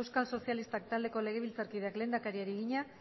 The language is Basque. euskal sozialistak taldeko legebiltzarkideak lehendakariari egina